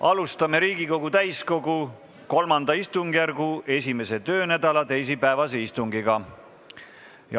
Alustame Riigikogu täiskogu III istungjärgu 1. töönädala teisipäevast istungit.